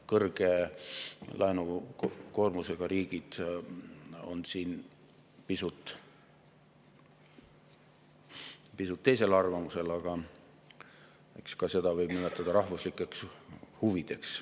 Kõrge laenukoormusega riigid on siin pisut teisel arvamusel, aga eks ka neid võib nimetada rahvuslikeks huvideks.